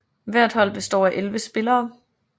Hvert hold består af 11 spillere